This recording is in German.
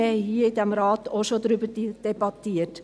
Darüber hatten wir in diesem Rat auch schon debattiert.